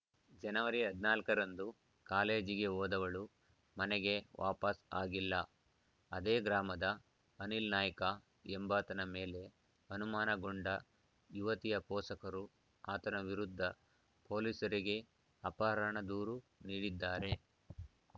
ಜನವರಿ ಹದಿನಾಲ್ಕ ರಂದು ಕಾಲೇಜಿಗೆ ಹೋದವಳು ಮನೆಗೆ ವಾಪಾಸ್‌ ಆಗಿಲ್ಲ ಅದೇ ಗ್ರಾಮದ ಅನಿಲ್‌ನಾಯ್ಕ ಎಂಬಾತನ ಮೇಲೆ ಅನುಮಾನಗೊಂಡ ಯುವತಿಯ ಪೋಷಕರು ಆತನ ವಿರುದ್ಧ ಪೊಲೀಸರಿಗೆ ಅಪಹರಣ ದೂರು ನೀಡಿದ್ದಾರೆ